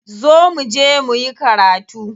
Zo muje muyi karatu.